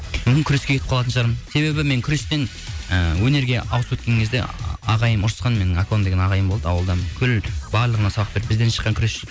мүмкін күреске кетіп қалатын шығармын себебі мен күрестен ы өнерге ауысып өткен кезде ағайым ұрысқан менің акон ағайым болды аулыдан бүкіл барлығына сабақ береді бізден шыққан күресші